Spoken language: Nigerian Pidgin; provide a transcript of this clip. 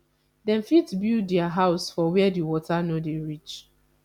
dem fit build their houses for where di water no dey reach